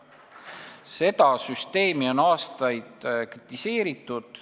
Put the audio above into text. Seda süsteemi on aastaid kritiseeritud.